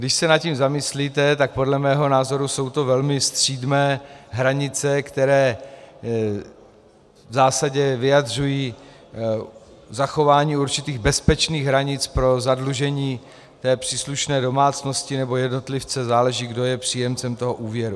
Když se nad tím zamyslíte, tak podle mého názoru jsou to velmi střídmé hranice, které v zásadě vyjadřují zachování určitých bezpečných hranic pro zadlužení té příslušné domácnosti nebo jednotlivce, záleží, kdo je příjemcem toho úvěru.